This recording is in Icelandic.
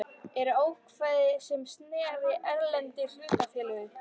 eru ákvæði sem snerta erlend hlutafélög.